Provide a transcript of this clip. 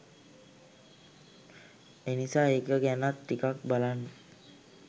එනිසා ඒක ගැනත් ටිකක් බලන්න.